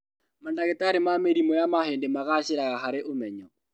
Mandagĩtarĩ ma mĩrimũ ya mahĩndĩ magacĩraga harĩ ũmenyo